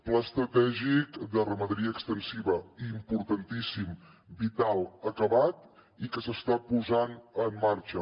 pla estratègic de ramaderia extensiva importantíssim vital acabat i que s’està posant en marxa